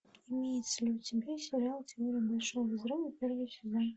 имеется ли у тебя сериал теория большого взрыва первый сезон